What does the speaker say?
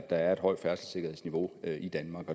er et højt færdselssikkerhedsniveau i danmark